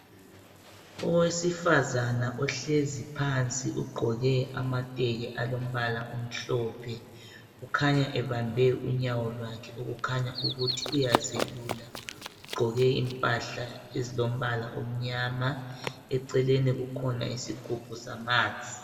Owesifazane ohlezi phansi ugqoke amateki alombala omhlophe. Ukhanya ebambe unyawo lwakhe okukhanya ukuthi uyazelula. Ugqoke impahla ezilombala omnyama. Eceleni kukhona isigubhu samanzi.